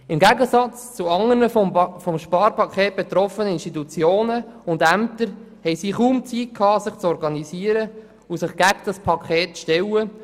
Im Gegensatz zu anderen vom Sparpaket betroffenen Institutionen und Ämtern, hatten diese kaum Zeit, sich zu organisieren und sich gegen dieses Paket zu stellen.